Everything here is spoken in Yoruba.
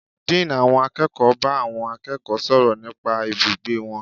Dean àwọn akẹ́kọ̀ọ́ bá àwọn akẹ́kọ̀ọ́ sọ̀rọ̀ nípa ibùgbé wọn.